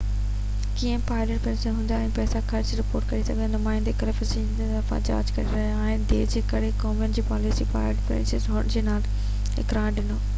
ڪيئن Planned Parenthood پنهنجا پئسا خرچ ۽ رپورٽ ڪري ٿو جيڪو نمائندي ڪلف اسٽرنس جي طرفان جاچ ٿي رهي آهي ۾ دير جي ڪري ڪومين جي پاليسي پلانڊ پئرينٽ هوڊ کي نا اهل قرار ڏنو